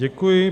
Děkuji.